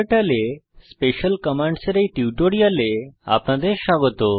ক্টার্টল এ special commands এর এই টিউটোরিয়ালে আপনাদের স্বাগত